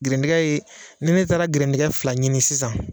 Gɛrɛndɛngɛ ye ni ne gɛrɛngɛdɛngɛ fila ɲini sisan